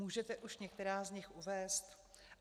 Můžete už některá z nich uvést?